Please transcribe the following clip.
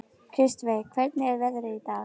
Kristveig, hvernig er veðrið í dag?